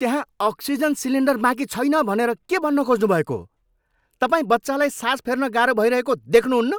त्यहाँ oxygen cylinder बाँकी छैन भनेर के भन्न खोज्नुभएको हो? तपाईँ बच्चालाई सास फेर्न गाह्रो भइरहेको देख्नुहुन्न?